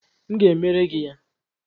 M ga-emere gị ya